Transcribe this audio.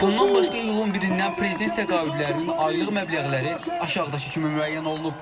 Bundan başqa iyulun 1-dən prezident təqaüdlərinin aylıq məbləğləri aşağıdakı kimi müəyyən olunub.